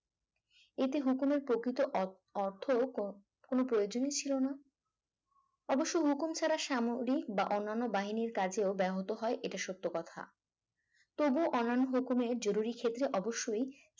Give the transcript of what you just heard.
এতে হুকুমের প্রকৃত অ অর্থ ক কোনো প্রয়োজনই ছিল না অবশ্য হুকুম ছাড়া সামরিক বা অন্যান্য বাহিনীর কাজে ব্যাহত হয় এটা সত্য কথা তবুও অন্যান্য হুকুমে জরুরী ক্ষেত্রে অবশ্যই